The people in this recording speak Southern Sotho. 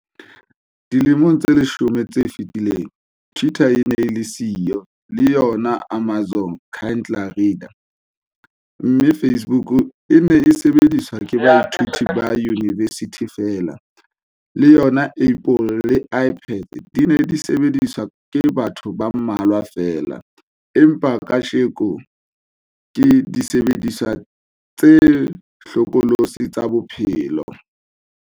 Dilemong tse leshome tse fetileng, twitter e ne e le siyo, le yona Amazon Kindle reader, mme Facebook e ne e sebediswa ke baithuti ba yunibesithi feela - le yona Apple le iPads di ne di sebediswa ke batho ba mmalwa feela - empa kajeno ke disebediswa tse hlokolosi tsa bophelo.